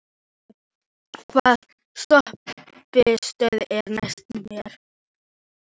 Tói, hvaða stoppistöð er næst mér?